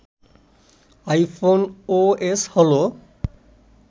iPhone OS হলো